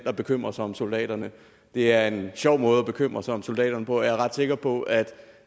der bekymrer sig om soldaterne det er en sjov måde at bekymre sig om soldaterne på og jeg er ret sikker på at